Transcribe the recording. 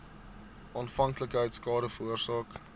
afhanklikheid skade veroorsaak